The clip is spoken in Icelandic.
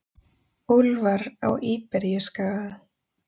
Úlfar á Íberíuskaga.